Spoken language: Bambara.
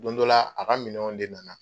Don dɔ la ,a ka minɛnw de nana.